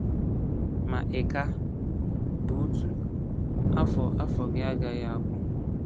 Ma ị ka bụ otu, afọ afọ gị agaghị agwụ.